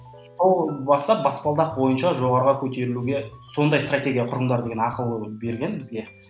сол бастап баспалдақ бойынша жоғарыға көтерілуге сондай стратегия құрыңдар деген ақыл берген бізге